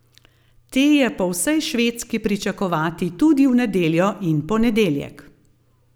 Te je po vsej Švedski pričakovati tudi v nedeljo in ponedeljek.